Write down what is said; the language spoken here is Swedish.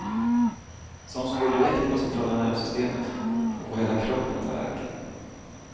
Sån som går direkt på centrala nervsystemet och får hela kroppen att värka.